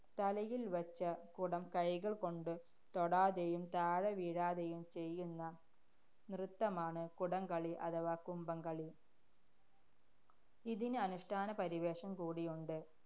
തലയില്‍വച്ച കുടം കൈകള്‍കൊണ്ട് തൊടാതെയും, താഴെവീഴാതെയും ചെയ്യുന്ന നൃത്തമാണ് കുടം കളി അഥവാ കുംഭം കളി. ഇതിന് അനുഷ്ഠാന പരിവേഷം കൂടിയുണ്ട്